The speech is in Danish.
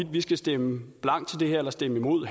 vi skal stemme blankt til det her eller stemme imod